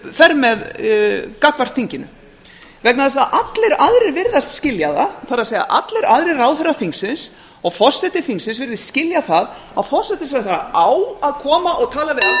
fer með gagnvart þinginu vegna þess að allir aðrir virðast skilja það það er allir aðrir ráðherrar þingsins og forseti þingsins virðist skilja það að forsætisráðherra á að koma og tala við alþingi ef alþingi óskar eftir því ef hann er